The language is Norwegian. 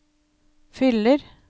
fyller